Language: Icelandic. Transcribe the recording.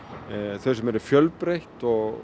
þau sem eru fjölbreytt og